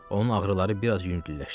Onun ağrıları biraz yüngülləşdi.